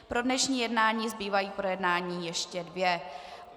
Pro dnešní jednání zbývají k projednání ještě dvě.